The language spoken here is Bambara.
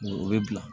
O bɛ bila